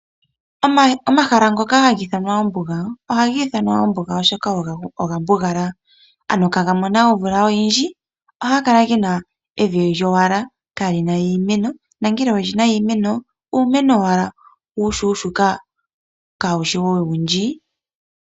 Omahala ngoka haga i thanwa ombuga, oha ga i thanwa ombuga oshoka oga mbugala. Ano kaga mona omvula oyindji, ohaga kala ge na evi lyowala kaa li na iimeno. Nongele oge na iimeno, uumeno owala uushuushuka kaa wushi owundji.